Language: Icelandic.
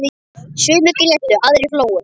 Sumir grétu, aðrir hlógu.